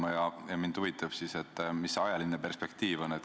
Kui nii, siis mind huvitab, milline see ajaline perspektiiv on.